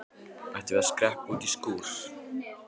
Ættum við að skreppa út í skúr?